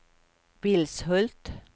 Vilshult